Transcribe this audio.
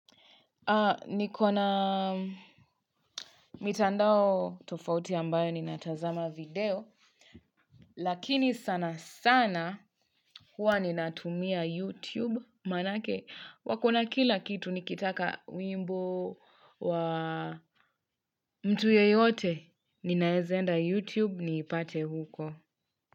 Niko na mitandao tofauti ambayo natazama video lakini sana sana huwa ninatumia YouTube manake wakona kila kitu nikitaka wimbo wa mtu yeyote ninaeza enda YouTube niipate huko.